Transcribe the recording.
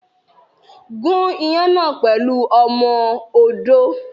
Gún iyán náà pẹ̀lú ọmọ odó.